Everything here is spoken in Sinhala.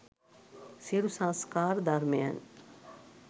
සියලු සංස්කාර ධර්මයන්